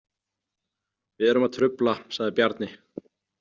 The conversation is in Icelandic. Við erum að trufla, sagði Bjarni.